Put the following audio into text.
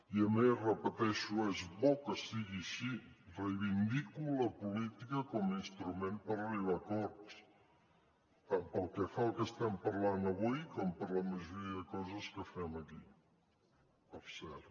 i a més ho repeteixo és bo que sigui així reivindico la política com a instrument per arribar a acords tant pel que fa al que estem parlant avui com per la majoria de coses que fem aquí per cert